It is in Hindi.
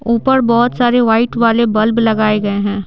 ऊपर बहुत सारे वाइट वाले बल्ब लगाए गए हैं।